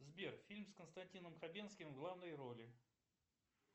сбер фильм с константином хабенским в главной роли